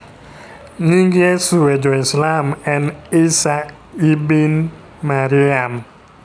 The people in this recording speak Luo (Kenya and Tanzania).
Nying Yesu e jo-islam en Isa ibn Maryam